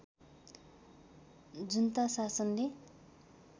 जुन्ता शासनले